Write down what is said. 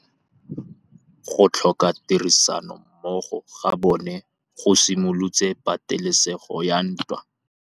Go tlhoka tirsanommogo ga bone go simolotse patêlêsêgô ya ntwa.